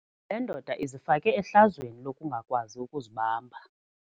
Le ndoda izifake ehlazweni lokungakwazi ukuzibamba.